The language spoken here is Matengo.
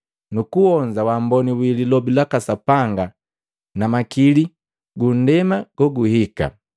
nukuonza wamboni wi lilobi laka Sapanga na makili ga ndema goguhika,